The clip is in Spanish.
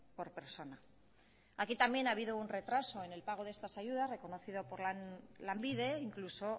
por persona aquí también ha habido un retraso en el pago de estas ayudas reconocido por lanbide e incluso